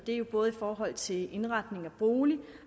er jo både i forhold til indretning af bolig